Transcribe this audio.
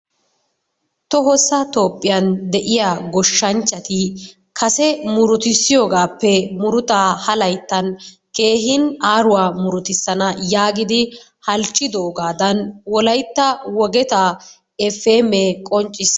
Tohossa Topphiyan de'iya goshshanchati kase murutidssiyoogaappe murutaa ha layttan keehin aaruwa muruttisana yaagidi halchidoogaadan wolaytta wogetaa efi emee qonccissisi.